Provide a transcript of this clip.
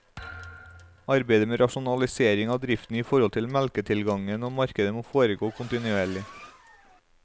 Arbeidet med rasjonalisering av driften i forhold til melketilgang og marked må foregå kontinuerlig.